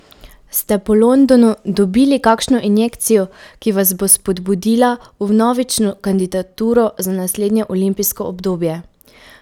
Ste po Londonu dobili kakšno injekcijo, ki vas bo spodbudila v vnovično kandidaturo za naslednje olimpijsko obdobje?